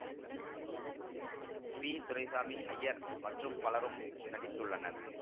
B Duraisamy Iyer மற்றும் பலரும் நடித்துள்ளனர்